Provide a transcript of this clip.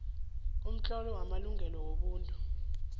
umtlolo wamalungelo wobuntu